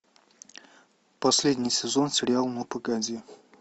последний сезон сериал ну погоди